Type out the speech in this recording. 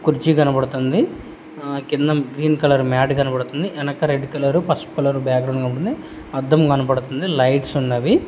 కుర్చీ కనపడతుంది ఆ కింద గ్రీన్ కలర్ మ్యాట్ కనపడతుంది వెనక రెడ్ కలర్ పసుపు రంగు బాగ్రౌండ్ కనపడతుంది అద్దం కనపడతుంది లైట్స్ ఉన్నవి.